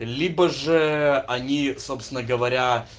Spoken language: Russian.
либо же они собственно говоря